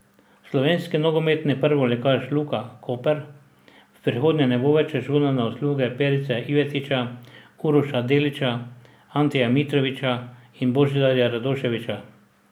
Slovenski nogometni prvoligaš Luka Koper v prihodnje ne bo več računal na usluge Perice Ivetića, Uroša Delića, Anteja Mitrovića in Božidarja Radoševića.